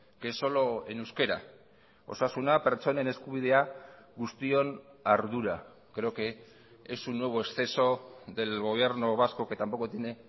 que es solo en euskera osasuna pertsonen eskubidea guztion ardura creo que es un nuevo exceso del gobierno vasco que tampoco tiene